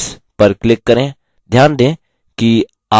click to add notes पर click करें